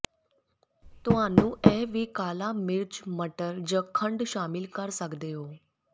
ਤੁਹਾਨੂੰ ਇਹ ਵੀ ਕਾਲਾ ਮਿਰਚ ਮਟਰ ਜ ਖੰਡ ਸ਼ਾਮਿਲ ਕਰ ਸਕਦੇ ਹੋ